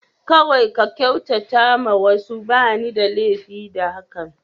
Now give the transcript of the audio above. Kawai ka kyautata ma wasu, ba ni da lafiya da hakan.